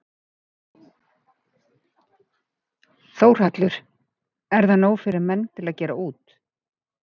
Þórhallur: Er það nóg fyrir menn til að gera út?